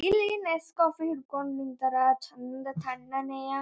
ಇಲ್ಲಿ Nescafe ಹಿಡಕೊಂಡ್ ನಿಂತರ್ ಚಂದ್ ತಣ್ಣನೆಯ--